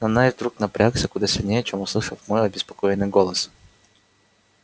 но найд вдруг напрягся куда сильнее чем услышав мой обеспокоенный голос